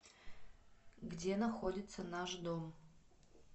где находится наш дом